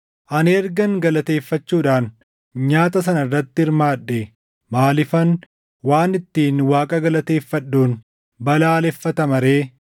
Ani ergan galateeffachuudhaan nyaata sana irratti hirmaadhee maaliifan waan ittiin Waaqa galateeffadhuun balaaleffatama ree?